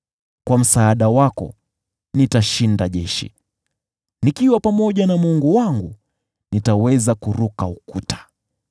Kwa msaada wako naweza kushinda jeshi, nikiwa pamoja na Mungu wangu nitaweza kuruka ukuta.